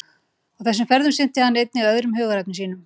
Á þessum ferðum sinnti hann einnig öðrum hugðarefnum sínum.